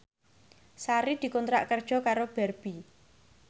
Sari dikontrak kerja karo Barbie